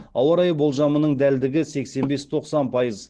ауа райы болжамының дәлдігі сексен бес тоқсан пайыз